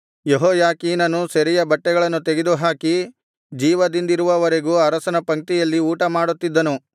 ಯೆಹೋಯಾಖೀನನು ಸೆರೆಯ ಬಟ್ಟೆಗಳನ್ನು ತೆಗೆದುಹಾಕಿ ಜೀವದಿಂದಿರುವವರೆಗೂ ಅರಸನ ಪಂಕ್ತಿಯಲ್ಲಿ ಊಟಮಾಡುತ್ತಿದ್ದನು